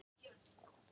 Stór got